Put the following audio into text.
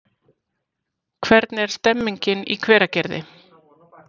Hvernig er stemningin í Hveragerði?